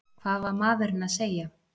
Hvað var maðurinn að segja?